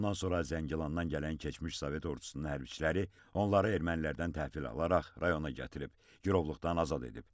Bundan sonra Zəngilandan gələn keçmiş sovet ordusunun hərbiçiləri onları ermənilərdən təhvil alaraq rayona gətirib girovluqdan azad edib.